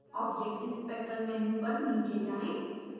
object inspector menu पर नीचे जाएँ